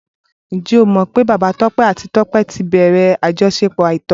Ǹjẹ́ o mọ̀ pé Bàbá Tọ́pẹ́ àti Tọ́pẹ́ ti bẹ̀rẹ̀ àjọṣepọ̀ àìtọ́?